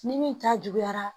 Ni min ta juguyara